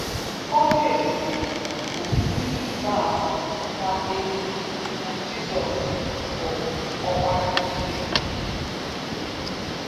Ọlụ ebụbe bụ ihe ịrịba ama na-egosi na Jizọs bụ Ọkpara Chineke n'ezie.